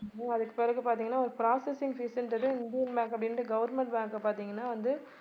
அதுக்கு பிறகு பார்த்தீங்கன்னா processing fees ன்றது இந்தியன் பேங்க் அப்படின்னுட்டு government bank பார்த்தீங்கன்னா வந்து